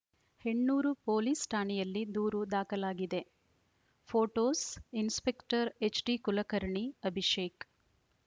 Hennur police ಠಾಣೆಯಲ್ಲಿ ದೂರು ದಾಖಲಾಗಿದೆ ಫೋಟೋಸ್‌ಇನ್ಸ್‌ಪೆಕ್ಟರ್‌ ಎಚ್‌ಡಿಕುಲಕರ್ಣಿ ಅಭಿಷೇಕ್‌